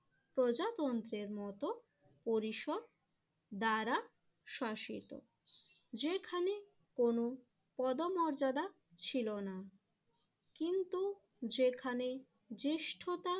প্রজাতন্ত্রের মতো পরিশোধ দ্বারা শাসিত। যেখানে কোন পদমর্যাদা ছিল না, কিন্তু যেখানে জ্যেষ্ঠতা